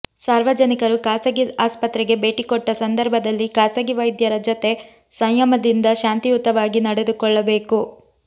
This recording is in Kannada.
ಸಾರ್ವಜನಿಕರು ಖಾಸಗಿ ಆಸ್ಪತ್ರೆಗೆ ಭೇಟಿ ಕೊಟ್ಟ ಸಂದರ್ಭದಲ್ಲಿ ಖಾಸಗಿ ವೈದ್ಯರ ಜೊತೆ ಸಂಯಮದಿಂದ ಶಾಂತಿಯುತವಾಗಿ ನಡೆದುಕೊಳ್ಳಬೇಕು